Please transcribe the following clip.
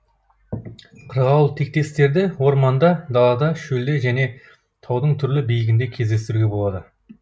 қырғауылтектестерді орманда далада шөлде және таудың түрлі биігінде кездестіруге болады